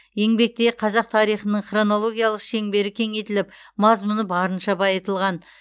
еңбекте қазақ тарихының хронологиялық шеңбері кеңейтіліп мазмұны барынша байытылған